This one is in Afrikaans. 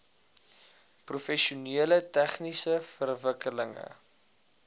professioneel tegniese verwikkelinge